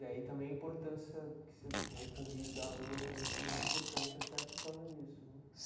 Daí também a importância, que você o convívio da rua também foi muito importante até por causa disso né.